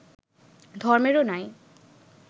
ধর্মেরও নাই